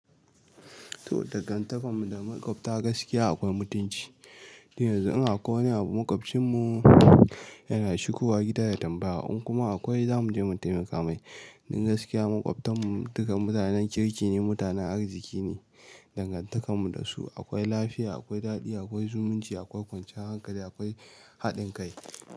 To, dangantakarmu da makwabta gaskiya akwai mutunci. Da yanzu in akwai wani abu maƙwabcinnu yana shigowa gida ya tambaya, in kuma akwai za mu je mu taimaka mai. Don gaskiya makwabtan mu duka mutanen kirki ne, mutanen arziki ne. Dangantakar mu da su akwai lafiya, akwai daɗi, akwai zumunci, akwai kwanciyar hankali akwai haɗin kai.